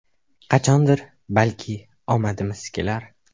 Qachondir, balki, omadimiz kelar.